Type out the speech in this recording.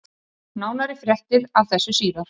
Nánari fréttir af þessu síðar.